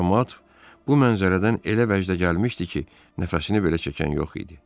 Camaat bu mənzərədən elə vəcdə gəlmişdi ki, nəfəsini belə çəkən yox idi.